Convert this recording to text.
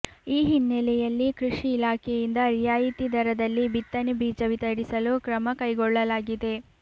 ಈ ಹಿನ್ನೆಲೆಯಲ್ಲಿ ಕೃಷಿ ಇಲಾಖೆಯಿಂದ ರಿಯಾಯಿತಿ ದರ ದಲ್ಲಿ ಬಿತ್ತನೆ ಬೀಜ ವಿತರಿಸಲು ಕ್ರಮಕೈ ಗೊಳ್ಳಲಾಗಿದೆ